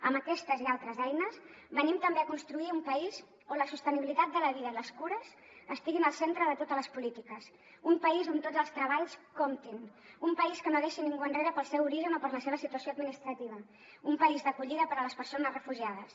amb aquestes i altres eines venim també a construir un país on la sostenibilitat de la vida i les cures estiguin al centre de totes les polítiques un país on tots els treballs comptin un país que no deixi ningú enrere pel seu origen o per la seva situació administrativa un país d’acollida per a les persones refugiades